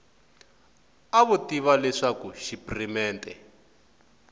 a vo tiva leswaku xipirimente